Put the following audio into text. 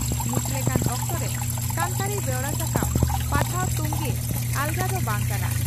ᱱᱤᱛ ᱞᱮᱠᱟᱱ ᱚᱠᱛᱚᱨᱮ ᱥᱟᱱᱛᱟᱲᱤ ᱵᱮᱣᱨᱟ ᱥᱟᱠᱟᱢ/ᱯᱟᱛᱷᱟᱢ ᱛᱚᱝᱜᱮ ᱟᱞᱜᱟ ᱫᱚ ᱵᱟᱝ ᱠᱟᱱᱟ ᱾